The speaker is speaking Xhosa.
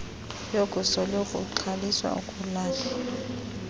yokusoloko ungxoliswa ukulahlwa